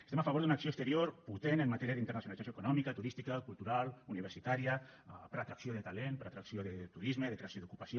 estem a favor d’una acció exterior potent en matèria d’internacionalització econòmica turística cultural universitària per atracció de talent per atracció de turisme i de creació d’ocupació